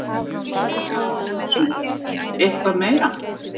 Auðun Georg Ólafsson: Eitthvað meira?